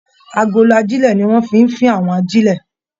Agolo ajilẹ̀ ní wọn fí n fín àwọn ajilẹ̀.